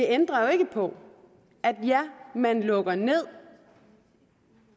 ændrer jo ikke på at man lukker ned